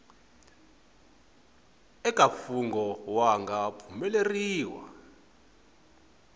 eka mfungho wu nga pfumeleriwa